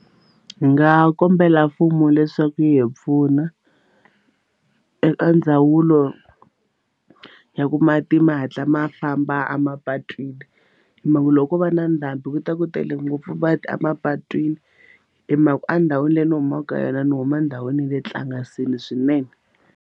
Ndzi nga kombela mfumo leswaku yi hi pfuna eka ndzawulo ya ku mati ma hatla ma famba emapatwini hi mhaka ku loko ko va na ndhambi ku ta ku tele ngopfu mati emapatwini hi mhaka endhawini leyi ni humaka ka yona ni huma ndhawini ya le nhlangasini swinene.